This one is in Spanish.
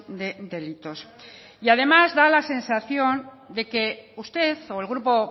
de delitos y además da la sensación de que usted o el grupo